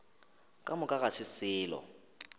ka moka ga se selo